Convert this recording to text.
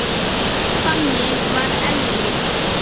Þannig var Elli.